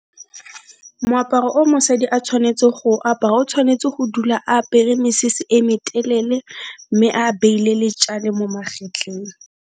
Moaparo o mosadi a tshwanetse go apara, o tshwanetse go dula apere mesese e me telele, mme a beile le tjale mo magetleng.